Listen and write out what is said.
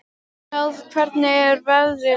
Náð, hvernig er veðrið úti?